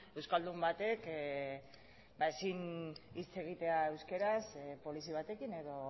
euskaldun batek ezin hitz egitea euskaraz polizi batekin edo